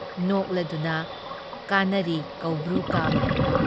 ꯅꯣꯛꯂꯗꯨꯅ ꯀꯥꯅꯔꯤ ꯀꯧꯕ꯭ꯔꯨ ꯀꯥꯕꯒꯨꯝ ꯫